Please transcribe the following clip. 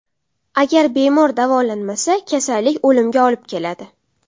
Agar bemor davolanmasa, kasallik o‘limga olib keladi.